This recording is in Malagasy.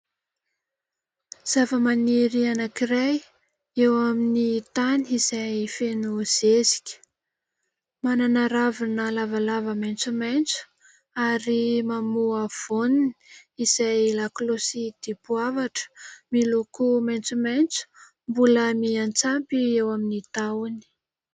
Zavamaniry anankiray eo amin'ny tany izay feno zezika. Manana ravina lavalava maitsomaitso ary mamoa voany izay lakolosy dipoavatra miloko maitsomaitso mbola miantsampy eo amin'ny tahony.